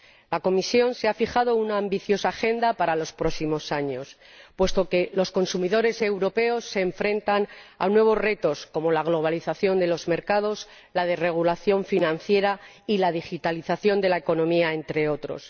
La Comisión se ha fijado una ambiciosa Agenda para los próximos años, puesto que los consumidores europeos se enfrentan a nuevos retos como la globalización de los mercados, la desregulación financiera y la digitalización de la economía, entre otros.